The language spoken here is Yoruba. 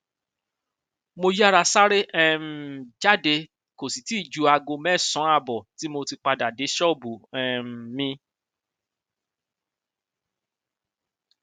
mo yáa sáré um jáde kó sì tì í ju aago mẹsànán ààbọ tí mo tí mo padà dé ṣọọbù um mi